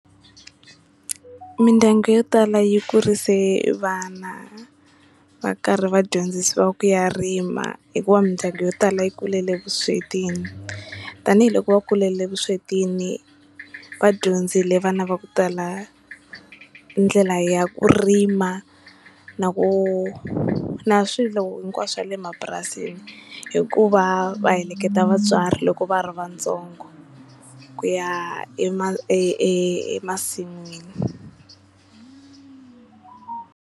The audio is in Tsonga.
Mindyangu yo tala yi kurise vana va karhi va dyondzisiwa ku ya rima hikuva mindyangu yo tala yi kulele vuswetini tanihiloko va kulele vuswetini vadyondzile vana va ku tala ndlela ya ku rima na ku na swilo hinkwaswo swa le mapurasini hikuva va heleketa vatswari loko va ri vatsongo ku ya e e emasin'wini.